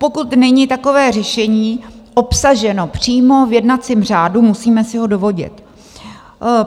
Pokud není takové řešení obsaženo přímo v jednacím řádu, musíme si ho dovodit.